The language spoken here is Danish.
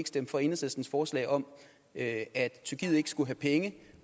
stemte for enhedslistens forslag om at at tyrkiet ikke skulle have penge